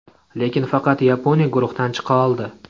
Lekin faqat Yaponiya guruhdan chiqa oldi.